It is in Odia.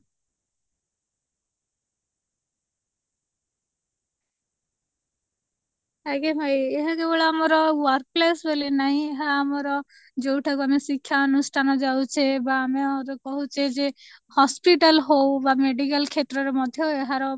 ଆଜ୍ଞା ଭାଇ ଏହା କେବଳ ଆମର workplace ବୋଲି ନାହିଁ ଏହା ଆମର ଜାଯଉଁଠାକୁ ଆମର ଶିକ୍ଷା ଅନୁଷ୍ଠାନ ଯାଉଛେ ବା ଆମେ ଏହାକୁ କହୁଛେ ଯେ hospital ହଉ ବା medical କ୍ଷେତ୍ର ରେ ମଧ୍ୟ ଏହାର